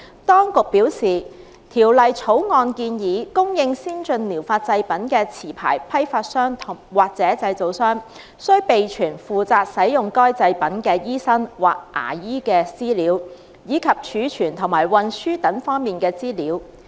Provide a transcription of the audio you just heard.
當局表示，《條例草案》建議，供應先進療法製品的持牌批發商或製造商，須備存負責使用該製品的醫生或牙醫的資料，以及貯存和運輸等方面的資料。